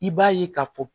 I b'a ye k'a fɔ